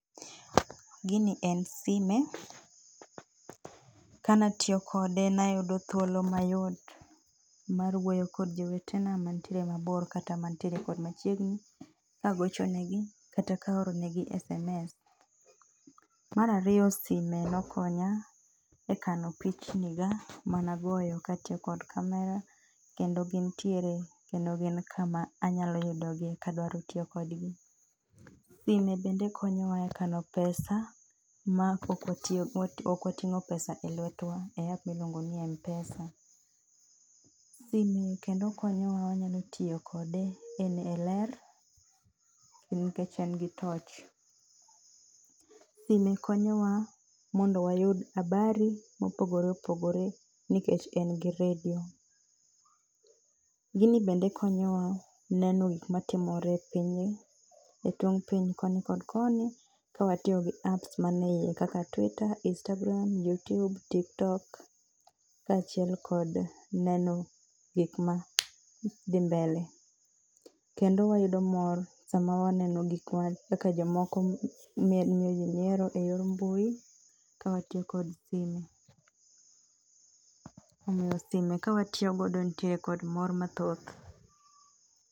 Gini en sime kanatiyo kode nayudo thuolo mayot mar wuoyo kod jowetena mantiere mabor kata mantiere kod machiegni, kagocho negi kata kaoro negi sms. Mar ariyo sime nokonya, e kano pichni ga managoyo katiyo kod camera, kendo gintiere kendo gin kama anyalo yudogie kadwaro tiyo kodgi. Sime bende konyowa e kano pesa, ma ok watiyo ok wating'o pesa e lwetwa e app miluongo ni m-pesa. Simbe kendo konyowa wanyalo tiyo kode e e ler, kendo nikech en gi torch. Sime konyowa mondo wayud habari mopogore opogore nikech en gi radio gini bende konyowa neno gik matimore e pinyni, e tong' piny koni kod koni, kawatiyo gi apps maneyie kaka twita, istagram, yutiub, tittok kachiel kod neno gik ma dhi mbele. Kendo wayudo mor sama waneno gik ma kaka jomoko miel miyo jii nyiero eyor mbui kawatiyo kod sime omiyo sime kawatiyo godo nitiere kod mor mathoth